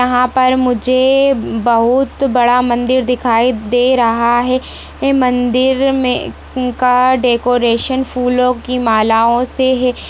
यहाँ पर मुझे बहुत बड़ा मंदिर दिखाई दे रहा है मंदिर मे इनका डेकरैशन फूलों की मालाओ से हे।